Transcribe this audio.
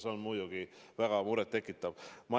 See on muidugi väga muret tekitav.